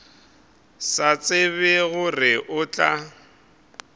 sa tsebe gore o tla